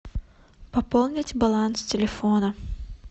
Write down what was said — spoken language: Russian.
пополнить баланс телефона